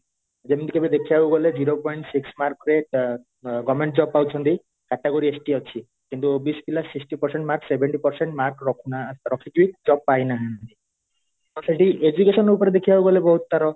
ଯେମିତିକି ଏବେ ଦେଖିବାକୁ ଗଲେ zero point six mark ରେ ଅ ଅ government job ପାଉଛନ୍ତି category ST ଅଛନ୍ତି କିନ୍ତୁ OBC ପିଲା sixty percent mark seventy percent mark ରଖୁନା ରଖିକି ଇ job ପାଇନାହାନ୍ତି ତ ସେଇଠି educational ଉପରେ ଦେଖିବାକୁ ଗଲେ ବହୁତ ତାର